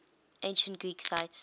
ancient greek sites